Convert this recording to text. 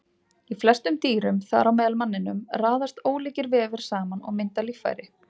Í flestum dýrum, þar á meðal manninum, raðast ólíkir vefir saman og mynda líffæri.